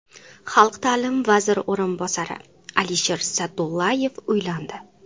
Xalq ta’limi vaziri o‘rinbosari Alisher Sa’dullayev uylandi.